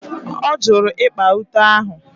Ọ jụrụ ịkpa ute ahụ.